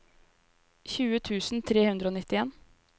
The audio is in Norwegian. tjue tusen tre hundre og nittien